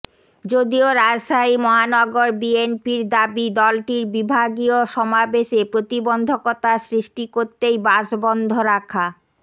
যদিও রাজশাহী মহানগর বিএনপির দাবি দলটির বিভাগীয় সমাবেশে প্রতিবন্ধকতা সৃষ্টি করতেই বাস বন্ধ রাখা